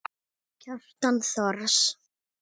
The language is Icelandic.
Kjartan Thors.